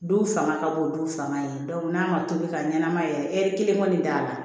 Du fanga ka bon du fanga ye n'a ma tobi ka ɲɛnamaya yɛrɛ ɛri kelen kɔni t'a la